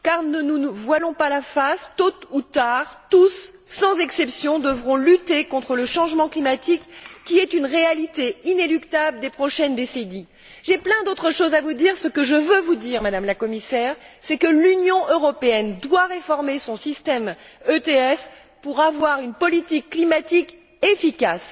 Ne nous voilons pas la face, tôt ou tard, tous sans exception devront lutter contre le changement climatique, qui est une réalité inéluctable des prochaines décennies. J'ai beaucoup d'autres choses à vous dire mais ce que je tiens à dire, Madame la Commissaire, c'est que l'Union européenne doit réformer son système ETS pour avoir une politique climatique efficace.